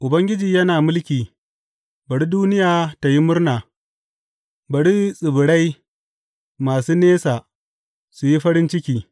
Ubangiji yana mulki, bari duniya tă yi murna; bari tsibirai masu nesa su yi farin ciki.